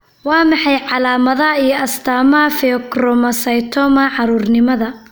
Waa maxay calaamadaha iyo astaamaha Pheochromocytoma, caruurnimada?